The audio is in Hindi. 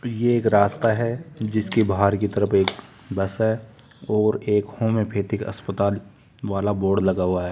ये एक रास्ता है जिसके बाहर की तरफ एक बस है और एक होम्योपैथिक अस्पताल वाला बोर्ड लगा हुआ है।